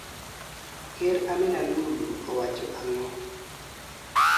Ker Amina Lulu owacho ang'o?